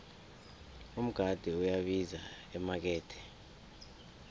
umgade uyabiza emakethe